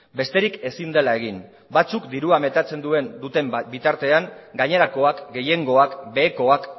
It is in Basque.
besterik ezin dela egin batzuk dirua metatzen duten bitartean gainerakoak gehiengoak behekoak